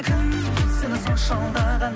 кім сені сонша алдаған